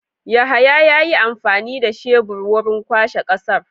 Yahaya yayi amfani da tebur wurin kwashe ƙasar.